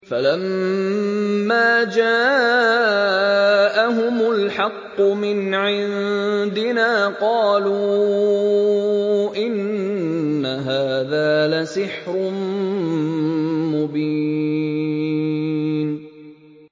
فَلَمَّا جَاءَهُمُ الْحَقُّ مِنْ عِندِنَا قَالُوا إِنَّ هَٰذَا لَسِحْرٌ مُّبِينٌ